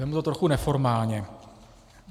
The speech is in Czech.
Vezmu to trochu neformálně.